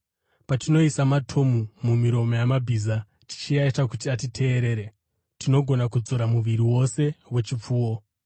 Patinoisa matomu mumiromo yamabhiza tichiaita kuti atiteerere, tinogona kudzora muviri wose wechipfuwo.